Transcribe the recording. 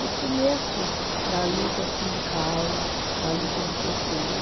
No começo da luta sindical, da luta do pê tê